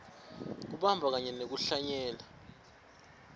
kubamba kanye nekuhlanyela